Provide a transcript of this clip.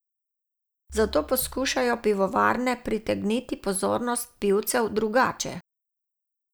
Zato poskušajo pivovarne pritegniti pozornost pivcev drugače.